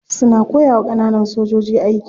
Suna koyawa kananan sojoji aiki.